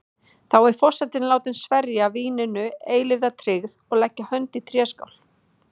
Þá er forseti látin sverja víninu eilífa tryggð og leggja hönd í tréskál.